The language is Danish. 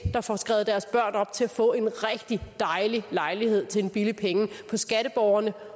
der får skrevet deres børn op til at få en rigtig dejlig lejlighed til en billig penge på skatteborgernes